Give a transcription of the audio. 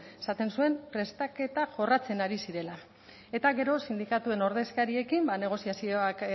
esaten zuen prestaketa jorratzen ari zirela eta gero sindikatuen ordezkariekin ba negoziazioak